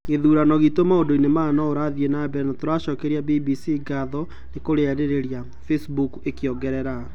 "Githurano gitũ maũndũ-ini maya niũrathie namebere na nitũracokeria BBC ngatho nikũrĩarĩrĩria", Facebook ikiongerera.